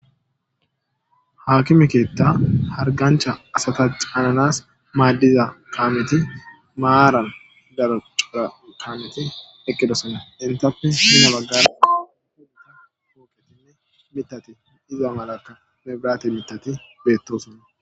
Hakkime keeththa hargganchcha asata caananas maadiza kaameththi maaran daro cora kaameti eqqidosona. Enttappe pude baggara pooqetinne miththati diza malaka mebiraate miththati beetosona.